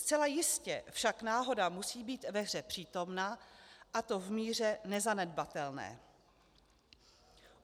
Zcela jistě však náhoda musí být ve hře přítomna, a to v míře nezanedbatelné.